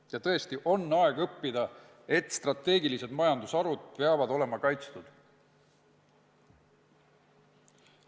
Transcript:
Ja tõesti on aeg õppida, et strateegilised majandusharud peavad olema kaitstud.